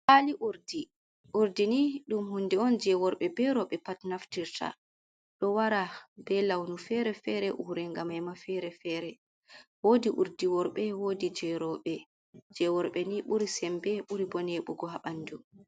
Kwali urdi. Urdi ni dum hunde on je worɓe be roɓe pat naftirta, ɗo wara be launu fere-fere ure gamema fere-fere, wodi urdi worɓe woɗi je roɓe. Je worɓe ni ɓuri sembe ɓuri bo neɓugo habandu.